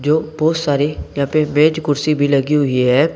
बहुत सारे यहां पे मेज कुर्सी भी लगी हुई है।